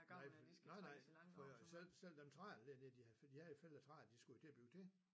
Nej for nej nej fordi selv selv dem træer der de havde fældet de havde jo fældet træer de skulle jo til at bygge til